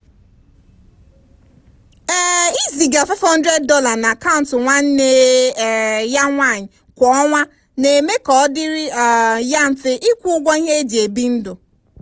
um ịziga $500 na akaụntụ nwanne um ya nwanyi kwa ọnwa na-eme ka ọ dịrị um ya mfe ịkwụ ụgwọ ihe eji ebi ndụ.